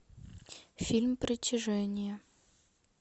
фильм притяжение